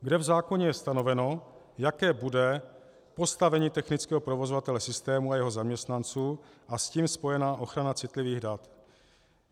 Kde v zákoně je stanoveno, jaké bude postavení technického provozovatele systému a jeho zaměstnanců a s tím spojená ochrana citlivých dat.